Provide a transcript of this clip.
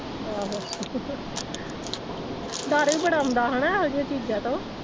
ਆਹੋ ਡਰ ਵੀ ਬੜਾ ਆਉਂਦਾ ਹੈਨਾ ਇਹੋ ਜਿਹੀਆਂ ਚੀਜ਼ਾਂ ਤੋਂ।